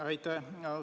Aitäh!